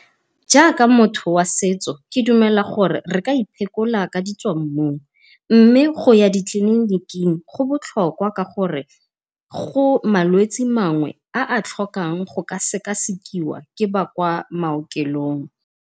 Jaaka motho wa setso ke dumela gore re ka iphekola ka ditswammung, mme go ya di tleliniking go botlhokwa ka gore go malwetse mangwe a a tlhokang go ka sekasekiwa ke ba kwa maokelong.